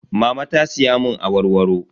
Mama ta siya mun awarwaro.